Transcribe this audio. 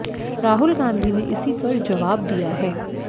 राहुल गांधी ने इसी पर जवाब दिया है